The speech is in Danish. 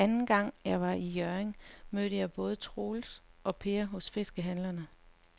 Anden gang jeg var i Hjørring, mødte jeg både Troels og Per hos fiskehandlerne.